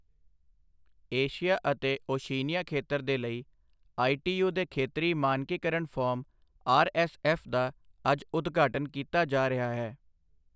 Asia ਅਤੇ Oceania ਖੇਤਰ ਦੇ ਲਈ ਆਈਟੀਯੂ ਦੇ ਖੇਤਰੀ ਮਾਨਕੀਕਰਣ ਫੋਰਮ ਆਰਐੱਸਐੱਫ ਦਾ ਅੱਜ ਉਦਘਾਟਨ ਕੀਤਾ ਜਾ ਰਿਹਾ ਹੈ